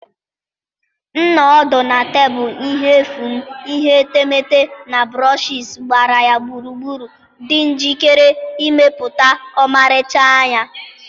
M nọ ọdụ na tebụl ihe efu m, ihe etemeete na brushes gbara ya gburugburu, dị njikere ịmepụta ọmarịcha anya